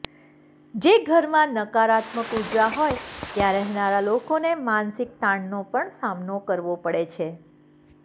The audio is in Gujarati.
જે ઘરમાં નકારાત્મક ઊર્જા હોય ત્યાં રહેનારા લોકોને માનસિક તાણનો પણ સામનો કરવો પડે છે